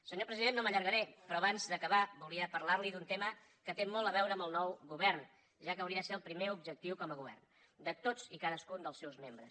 senyor president no m’allargaré però abans d’acabar volia parlar li d’un tema que té molt a veure amb el nou govern ja que hauria de ser el primer objectiu com a govern de tots i cadascun dels seus membres